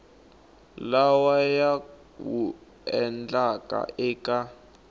lawa ya wu endlaka eka